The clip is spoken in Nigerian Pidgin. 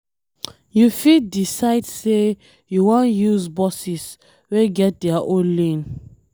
You fit decide sey you wan use buses wey get their own lane